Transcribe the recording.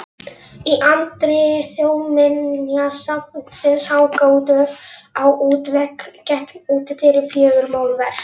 Í anddyri Þjóðminjasafnsins hanga á útvegg gegnt útidyrum fjögur málverk.